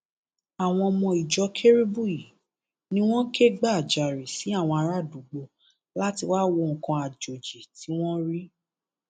àwọn ọmọ ìjọ kérúbù yìí ni wọn kẹgbajarè sí àwọn ará àdúgbò láti wáá wo nǹkan àjòjì tí wọn rí